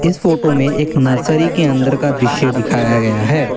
इस फोटो में एक नर्सरी के अंदर का दृश्य दिखाया गया है।